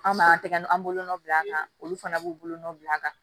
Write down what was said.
An b'a tɛgɛ n'an bolonɔ bila a kan olu fana b'u bolonɔ bila a la